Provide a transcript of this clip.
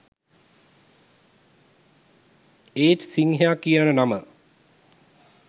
ඒත් සිංහයා කියන නම